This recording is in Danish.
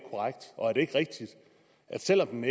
ikke rigtigt at selv om